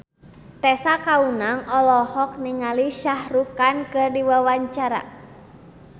Tessa Kaunang olohok ningali Shah Rukh Khan keur diwawancara